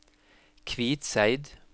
Kvitseid